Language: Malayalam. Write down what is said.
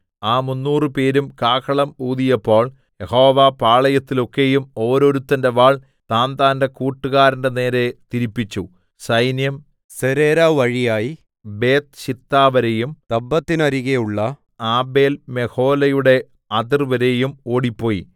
ആ മുന്നൂറുപേരും കാഹളം ഊതിയപ്പോൾ യഹോവ പാളയത്തിലൊക്കെയും ഓരോരുത്തന്റെ വാൾ താന്താന്റെ കൂട്ടുകാരന്റെ നേരെ തിരിപ്പിച്ചു സൈന്യം സെരേരാ വഴിയായി ബേത്ത്ശിത്താവരെയും തബ്ബത്തിന്നരികെയുള്ള ആബേൽമെഹോലയുടെ അതിർവരെയും ഓടിപ്പോയി